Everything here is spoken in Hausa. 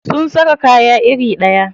Sun saka kaya iri ɗaya.